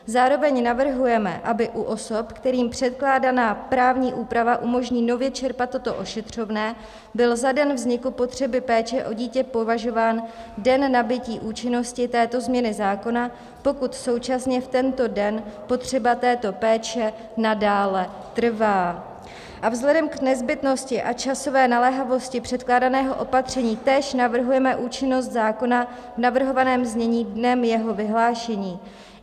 Zároveň navrhujeme, aby u osob, kterým předkládaná právní úprava umožní nově čerpat toto ošetřovné, byl za den vzniku potřeby péče o dítě považován den nabytí účinnosti této změny zákona, pokud současně v tento den potřeba této péče nadále trvá, a vzhledem k nezbytnosti a časové naléhavosti předkládaného opatření též navrhujeme účinnost zákona v navrhovaném znění dnem jeho vyhlášení.